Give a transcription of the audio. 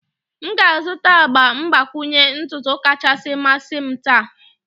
M ga-azụta agba mgbakwunye ntutu kacha mmasị m taa.